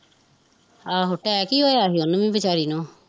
ਆਹੋ ਟੈਕ ਹੀਂ ਹੋਇਆ ਸੀ ਉਹਣੂ ਵੀ ਵੀਚਾਰੀ ਨੂੰ